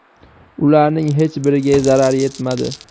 Ularning hech biriga zarar yetmadi.